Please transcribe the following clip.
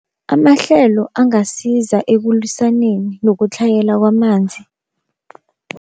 Amahlelo angasiza ekulwisaneni nokutlhayela kwamanzi.